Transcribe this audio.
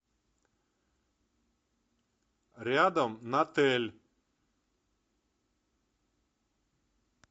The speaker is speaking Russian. рядом натэль